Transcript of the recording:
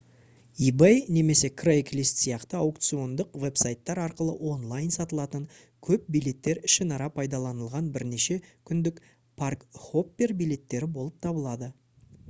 ebay немесе craigslist сияқты аукциондық веб-сайттар арқылы онлайн сатылатын көп билеттер ішінара пайдаланылған бірнеше күндік парк-хоппер билеттері болып табылады